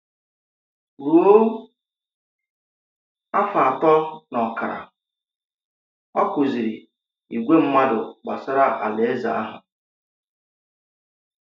Rùo afọ́ atọ̀ na ọkara, ọ kụzìrì ìgwè mmádù̀ gbasara Àláèzè àhụ̀.